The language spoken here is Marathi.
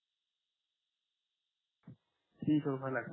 तीनशे रुपयाला लागतील